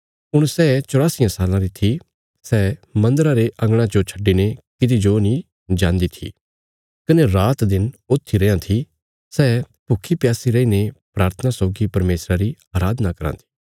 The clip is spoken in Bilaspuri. हुण सै चौरासियां साल्लां री थी सै मन्दरा रे अंगणा जो छड्डिने किति जो नीं जान्दी थी कने रात दिन ऊथी रैयां थी सै भुक्खी प्यासी रैईने प्राथना सौगी परमेशरा री अराधना कराँ थी